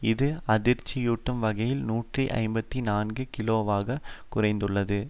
இது அதிர்ச்சியூட்டும் வகையில் நூற்றி ஐம்பத்தி நான்கு கிலோவாக குறைந்துள்ளது